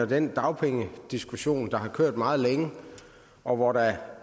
den dagpengediskussion der har kørt meget længe og hvor der